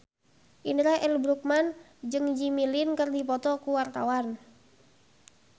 Indra L. Bruggman jeung Jimmy Lin keur dipoto ku wartawan